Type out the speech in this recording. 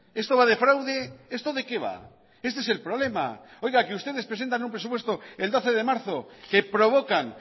esto va de fraude esto de qué va este es el problema oiga que ustedes presentan un presupuesto el doce de marzo que provocan